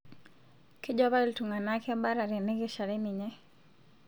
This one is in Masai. Kejo apa iltung'ana kebata tenekeshare ninye